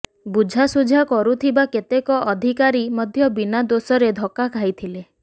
ବୁଝାଶୁଝା କରୁଥିବା କେତେକ ଅଧିକାରୀ ମଧ୍ୟ ବିନା ଦୋଷରେ ଧକ୍କା ଖାଇଥିଲେ